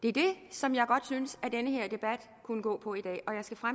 er det som jeg synes den her debat kunne gå på i dag